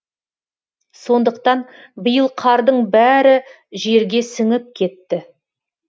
сондықтан биыл қардың бәрі жерге сіңіп кетті